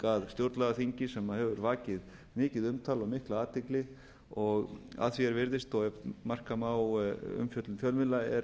að stjórnlagaþingi sem hefur vakið mikið umtal og mikla athygli og að því er virðist og ef marka má umfjöllun fjölmiðla